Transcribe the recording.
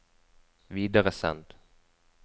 videresend